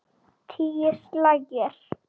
Tíu slagir.